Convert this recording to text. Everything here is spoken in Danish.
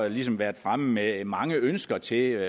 ligesom været fremme i at mange ønsker til